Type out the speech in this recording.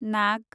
नाग